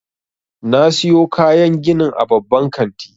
Na siyo kayan ginin a babban kanti.